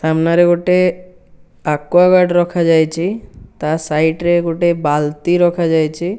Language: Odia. ସାମ୍ନାରେ ଗୋଟେ ଆକ୍ୱାଗାର୍ଡ ରଖାଯାଇଚି। ତା ସାଇଡ ରେ ଗୋଟେ ବାଲ୍ଟି ରଖାଯାଇଚି।